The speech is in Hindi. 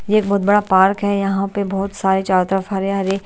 ये एक बहुत बड़ा पार्क है यहाँ पे बहुत सारे चारों तरफ हरे हरे--